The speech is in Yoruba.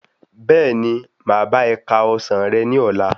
Bẹ́ẹ̀ni, máa bá e ka ọsán rẹ ní ọlá.